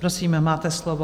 Prosím, máte slovo.